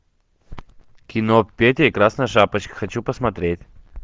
кино петя и красная шапочка хочу посмотреть